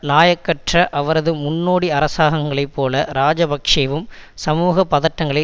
இலாயக்கற்ற அவரது முன்னோடி அரசாங்கங்களை போலவே இராஜபக்ஷவும் சமூக பதட்டங்களை